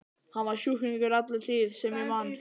Hann var sjúklingur alla tíð sem ég man.